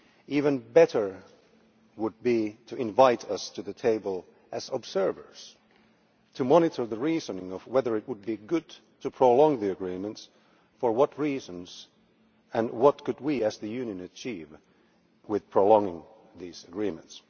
Even better would be to invite us to the table as observers to monitor the reasoning of whether it would be good to prolong the agreements, for what reasons, and what we, as the Union, could achieve by prolonging these agreements.